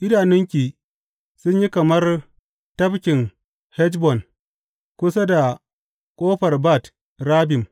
Idanunki sun yi kamar tafkin Heshbon kusa da ƙofar Bat Rabbim.